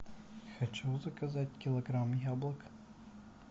хочу заказать килограмм яблок